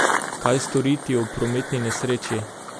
Kaj storiti ob prometni nesreči?